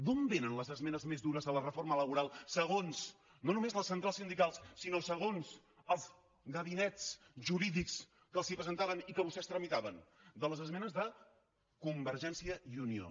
d’on vénen les esmenes més dures a la reforma laboral segons no només les centrals sindicals sinó segons els gabinets jurídics que els les presentaven i que vostès tramitaven de les esmenes de convergència i unió